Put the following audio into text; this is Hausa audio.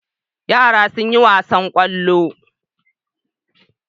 Yara sun yi wasan ƙwallo.